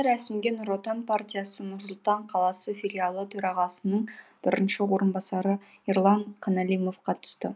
рәсімге нұр отан партиясы нұр сұлтан қаласы филиалы төрағасының бірінші орынбасары ерлан қаналимов қатысты